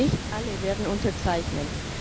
Nicht alle werden unterzeichnen.